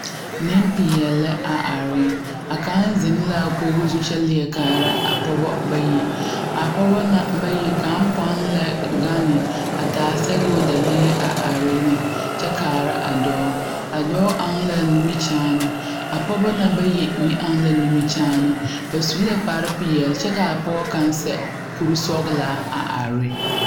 Nempeɛle lɛ a are a kaŋ zeŋ la a koɡi zu kyɛ leɛ kaara a pɔɡe bayi a pɔɡe na bayi kaŋa pɔn lɛ ɡane a taa sɛɡoo dalee a are ne kyɛ kaara a dɔɔ a dɔɔ ɔŋ la a nimikyaane a pɔɡeba na bayi meŋ ɔŋ la nimikyaane ba su la kparpeɛle kyɛ ka a pɔɡe kaŋ sɛ kursɔɡelaa a are.